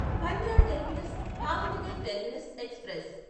Bandra terminus Bhavnagar terminus express